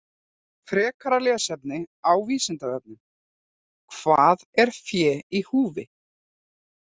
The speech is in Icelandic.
Frekara lesefni á Vísindavefnum: Hvað er fé í húfi?